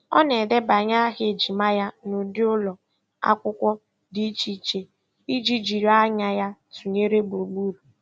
Ọ na-edebanye aha ejima ya n'ụdị ụlọ akwụkwọ dị iche iche iji jiri anya ya tụnyere gburugburu.